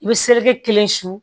I bɛ selikɛ kelen su